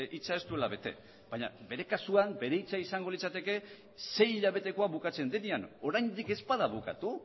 hitza ez duela bete baina bere kasuan bere hitza izango litzateke sei hilabetekoa bukatzen denean oraindik ez bada bukatu